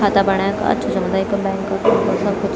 खाता बणै क अच्छु समुदाय का बैंक सब कुछ।